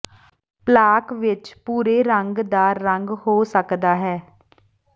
plaque ਵਿੱਚ ਭੂਰੇ ਰੰਗ ਦਾ ਰੰਗ ਹੋ ਸਕਦਾ ਹੈ